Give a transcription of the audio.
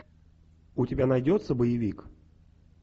у тебя найдется боевик